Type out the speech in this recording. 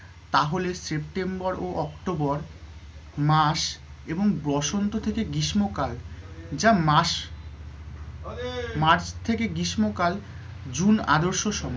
তাহলে september ও october মাস এবং বসন্ত থেকে গ্রীষ্মকাল যা মাস march থেকে গ্রীষ্মকাল june আদর্শ সময়